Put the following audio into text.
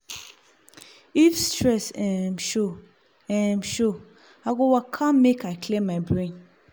if stress um show um show i go waka make i clear my brain.